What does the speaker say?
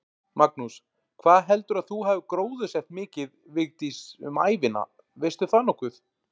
Magnús: Hvað heldurðu að þú hafir gróðursett mikið, Vigdís, um ævina, veistu það nokkuð?